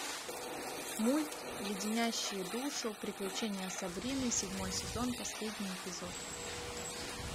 мульт леденящие душу приключения сабрины седьмой сезон последний эпизод